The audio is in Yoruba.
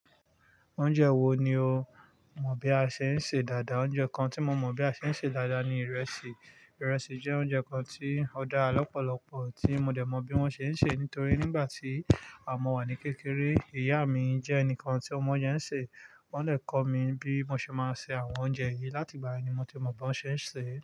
Oúnjẹ wo ni o mọ bí a ṣe ń ṣe dáadáa? Oúnjẹ kan tí mo mọ̀ bí a ṣe ń ṣe dáadáa ni ìrẹsì. Ìrẹsì jẹ́ oúnjẹ kan tí ó dá lọ́pọ̀lọpọ̀ tí mo dẹ̀ mọ̀ bí wón ṣe ń ṣe nítorí nígbà tí mọ̀ wà ní kékeré, ìyá mi jẹ́ ẹnìkan tí ọ mọ ounje ṣe. Wọ́n dè kọ́ mi bí mo ṣe máa se àwọn oúnjẹ yìí. Láti ìgbà yen ni mo ti mọ̀ bí wón ṣe ń ṣe.